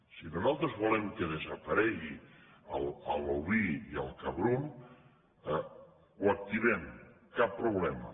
si nosaltres volem que desaparegui l’oví i el cabrum ho activem cap problema